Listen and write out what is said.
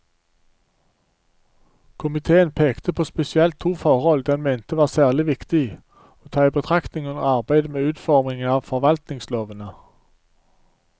Komiteen pekte på spesielt to forhold den mente var særlig viktig å ta i betraktning under arbeidet med utformingen av forvaltningslovene.